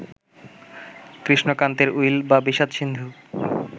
কৃষ্ণকান্তের will বা বিষাদ-সিন্ধু